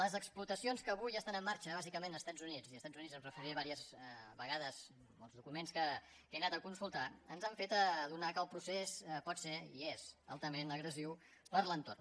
les explotacions que avui estan en marxa bàsicament als estats units i als estats units em referiré diverses vegades pels documents que he anat a consultar ens han fet adonar que el procés pot ser i és altament agressiu per a l’entorn